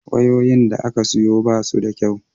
wayoyin da aka sayo basu da kyau